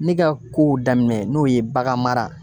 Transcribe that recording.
Ne ka kow daminɛ n'o ye baganmara